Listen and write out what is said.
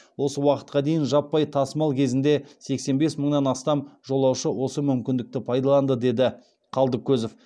осы уақытқа дейін жаппай тасымал кезінде сексен бес мыңнан астам жолаушы осы мүмкіндікті пайдаланды деді қалдыкозов